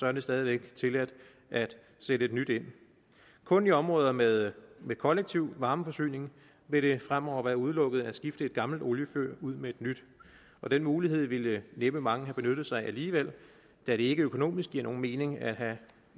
er det stadig væk tilladt at sætte et nyt ind kun i områder med med kollektiv varmeforsyning vil det fremover være udelukket at skifte et gammelt oliefyr ud med et nyt den mulighed ville næppe mange have benyttet sig af alligevel da det ikke økonomisk giver nogen mening at have